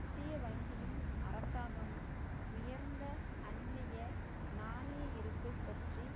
மத்திய வங்கியும் அரசாங்கமும் உயர்ந்த அந்நிய நாணய இருப்பை பற்றி